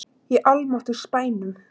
Í almáttugs bænum!